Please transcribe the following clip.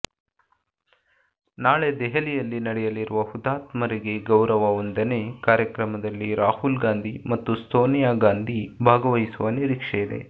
ನಾಳೆ ದೆಹಲಿಯಲ್ಲಿ ನಡೆಯಲಿರುವ ಹುತಾತ್ಮರಿಗೆ ಗೌರವ ವಂದನೆ ಕಾರ್ಯಕ್ರಮದಲ್ಲಿ ರಾಹುಲ್ ಗಾಂಧಿ ಮತ್ತು ಸೋನಿಯಾ ಗಾಂಧಿ ಭಾಗವಹಿಸುವ ನಿರೀಕ್ಷೆಯಿದೆ